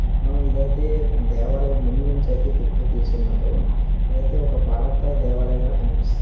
హా ఇధైతే ధేవలయం ముందునుంచైతే ఈ పిక్కు ఇసున్నారు ఎధైతె ఒక పాథా ధేవలయం ల కనిపిస్తుంది.